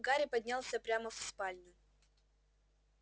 гарри поднялся прямо в спальню